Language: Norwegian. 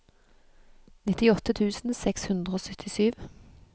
nittiåtte tusen seks hundre og syttisju